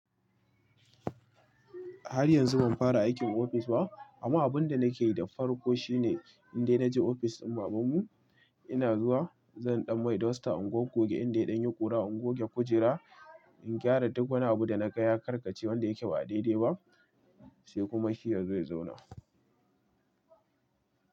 Har yanzu ban fara aikin ofis ba. Amma abin da nake da farko shine in dai na je ofis din baban mu, ina zuwa zan ɗan mai duster in goge, inda ya ɗan yi ƙura in goge kujera, in gyara duk wani abu da na ga ya karkace wanda yake ba daidai ba, sai kuma shi yazo ya zauna.